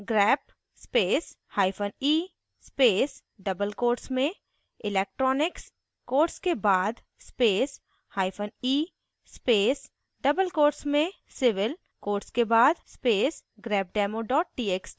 grep space hyphen e space double quotes में electronics quotes के बाद space hyphen e space double quotes में civil quotes के बाद space grepdemo txt